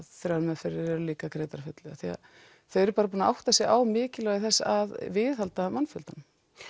þrjár meðferðir líka greiddar að fullu af því að þau eru bara búin að átta sig á mikilvægi þess að viðhalda mannfjöldanum